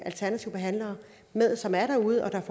alternative behandlere som er derude og